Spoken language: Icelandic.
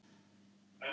Það er heila málið!